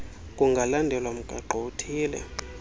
kungalandelwa mgaqo uthile